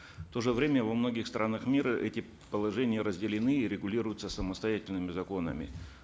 в то же время во многих странах мира эти положения разделены и регулируются самостоятельными законами